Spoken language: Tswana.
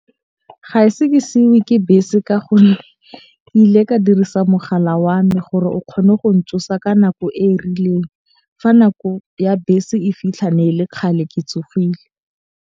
Ga e se ke seiwe ke bese ka gonne ke ile ka dirisa mogala wa me gore o kgone go ntsosa ka nako e e rileng. Fa nako ya bese e fitlha ne e le kgale ke tsogile.